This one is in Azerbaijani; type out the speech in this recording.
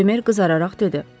Bemer qızararaq dedi: